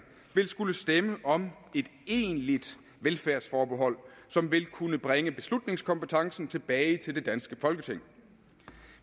vil skulle stemme om et egentlig velfærdsforbehold som vil kunne bringe beslutningskompetencen tilbage til det danske folketing